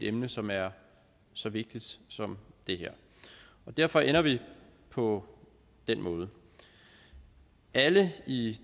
emne som er så vigtigt som det her og derfor ender vi på den måde alle i